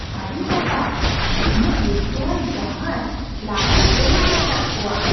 ᱟᱹᱰᱤ ᱱᱟᱯᱟᱭ ! ᱱᱩᱱᱟᱹᱜ ᱨᱟᱹᱥᱠᱟᱹᱣᱟᱱ ᱡᱟᱦᱟᱭ ᱞᱟᱦᱟᱨᱮ ᱵᱟᱹᱧ ᱧᱮᱞᱟᱠᱟᱫ ᱠᱚᱣᱟ !